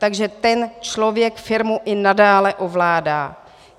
Takže ten člověk firmu i nadále ovládá.